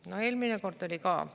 No eelmine kord oli ka.